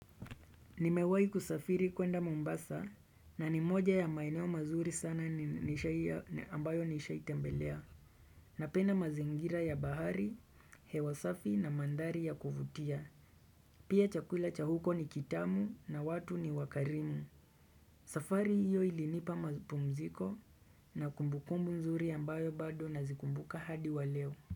Nimewahi kusafiri kwenda Mombasa na ni moja ya maeneo mazuri sana ambayo nishaitembelea. Napenda mazingira ya bahari, hewa safi na mandhari ya kuvutia. Pia chakula cha huko ni kitamu na watu ni wakarimu. Safari hiyo ilinipa mapumziko na kumbukumbu nzuri ambayo bado nazikumbuka hadi wa leo.